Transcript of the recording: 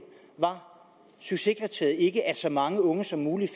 var succeskriteriet ikke at så mange unge som muligt